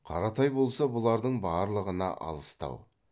қаратай болса бұлардың барлығына алыстау